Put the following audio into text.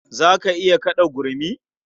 Za ka iya kaɗa gurmi?